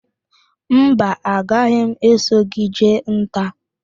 Mba, a gaghị m eso gị jee nta